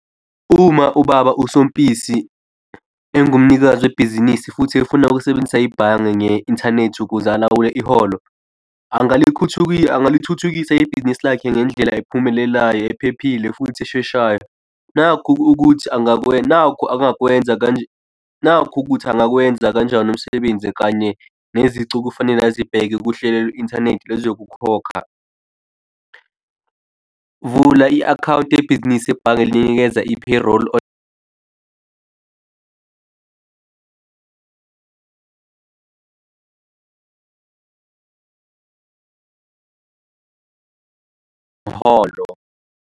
Uma ubaba, usoMpisi engumnikazi webhizinisi futhi efuna ukusebenzisa ibhange nge-inthanethi ukuze alawule iholo, angalithuthukisa ibhizinisi lakhe ngendlela ephumelelayo ephephile futhi esheshayo, nakhu ukuthi angakwenza, nakhu angakwenza kanje, nakhu ukuthi angakwenza kanjani umsebenzi kanye nezicu okufanele azibheke kuhlelo lwe-inthanethi lwezokukhokha. Vula i-akhawunti yebhizinisi ebhange linikeza i-pay roll umholo.